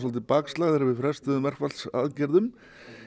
bakslag þegar við frestuðum verkfallsaðgerðum